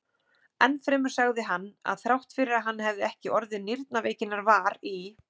Enn fremur sagði hann, að þrátt fyrir að hann hefði ekki orðið nýrnaveikinnar var í